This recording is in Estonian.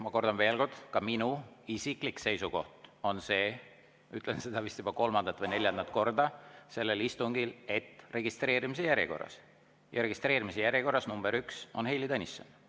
Ma kordan veel kord, ka minu isiklik seisukoht on see – ütlen seda vist juba kolmandat või neljandat korda sellel istungil –, et registreerimise järjekorras, ja registreerimise järjekorras number üks on Heili Tõnisson.